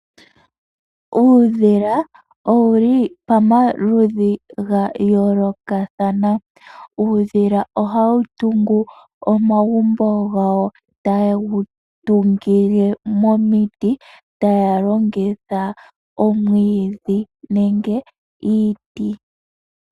Uudhila owu li pamaludhi ga yoolokathana. Uudhila ohawu tungu omagumbo gawo tawu tungile momiti, taya longitha omwiidhi nenge iiti.